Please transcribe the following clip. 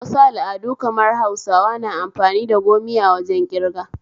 Wasu al'adu kamar Hausawa na amfani da gomiya wajen ƙirga